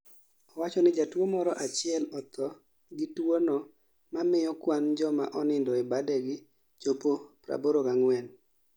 Owachoni jatuo moro achiel othoo gi tuo no mamiyo kwan joma onindo e badegi chopo 84